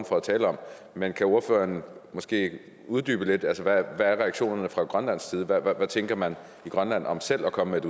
for at tale om men kan ordføreren måske uddybe det lidt hvad er reaktionerne fra grønlandsk side hvad tænker man i grønland om selv at komme